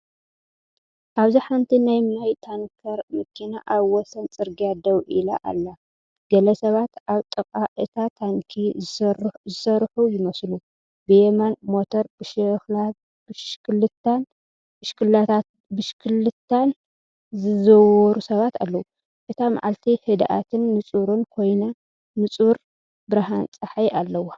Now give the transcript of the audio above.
ኣብዚ ሓንቲ ናይ ማይ ታንከር መኪና ኣብ ወሰን ጽርግያ ደው ኢላ ኣላ። ገለ ሰባት ኣብ ጥቓ እታ ታንኪ ዝሰርሑ ይመስሉ፡ ብየማን ሞተር ብሽክለታን ብሽክለታን ዝዝውሩ ሰባት ኣለዉ። እታ መዓልቲ ህድኣትን ንጹርን ኮይና ንጹር ብርሃን ጸሓይ ኣለዋ።